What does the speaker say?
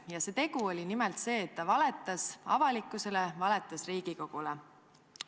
Ja see tegu oli nimelt see, et ta valetas avalikkusele, valetas Riigikogule.